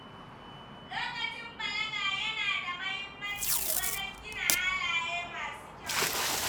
Lokacin balaga yana da mahimmanci wajen gina halaye masu kyau.